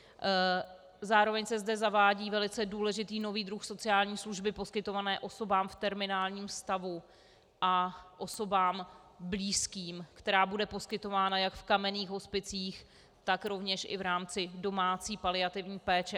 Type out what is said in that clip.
Zároveň se zde zavádí velice důležitý nový druh sociální služby poskytované osobám v terminálním stavu a osobám blízkým, která bude poskytována jak v kamenných hospicích, tak rovněž i v rámci domácí paliativní péče.